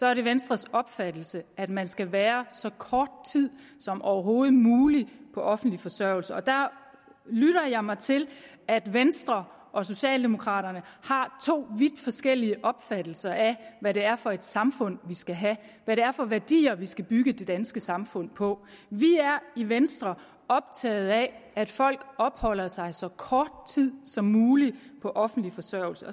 er det venstres opfattelse at man skal være så kort tid som overhovedet muligt på offentlig forsørgelse der lytter jeg mig til at venstre og socialdemokraterne har to vidt forskellige opfattelser af hvad det er for et samfund vi skal have hvad det er for værdier vi skal bygge det danske samfund på vi er i venstre optaget af at folk opholder sig så kort tid som muligt på offentlig forsørgelse